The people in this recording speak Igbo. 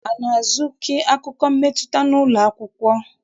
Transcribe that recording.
A na-azụki akụkọ mmetụta n'ụlọ akwụkwọ?